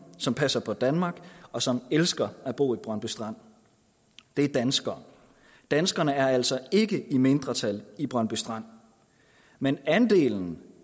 som passer på danmark og som elsker at bo i brøndby strand det er danskere danskerne er altså ikke i mindretal i brøndby strand men andelen